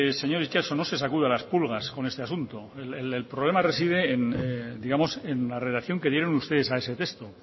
señor itxaso no se sacuda las pulgas con este asunto el problema reside en digamos en la redacción que dieron ustedes a ese texto